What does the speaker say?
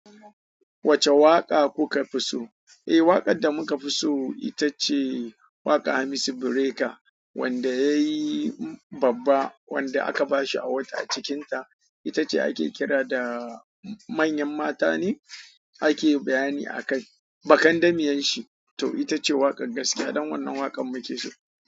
Wacce waƙa kuka fi so? Eh, waƙar da muka fi so ita ce waƙa hamisu Bireka wanda ya yi babba, wanda aka ba shi awad a cikinta. Ita ce ake kira da manyan mata ne ake bayani akai. Bakandamiyan shi to ita ce waƙar gaskiya don wannan waƙan muke so.